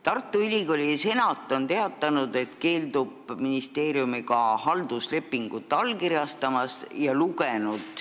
Tartu Ülikooli senat on teatanud, et keeldub halduslepingu allkirjastamisest ministeeriumiga.